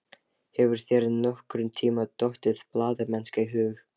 Hefur þér nokkurntíma dottið blaðamennska í hug?